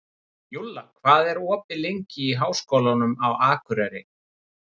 Júlla, hvað er opið lengi í Háskólanum á Akureyri?